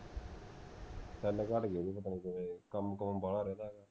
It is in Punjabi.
ਘੱਟ ਗਏ ਪਤਾ ਨਹੀਂ ਓਹਦੇ ਕਿਵੇਂ ਕੰਮ ਕੁਮ ਬਾਹਲਾ ਰਹਿੰਦੇ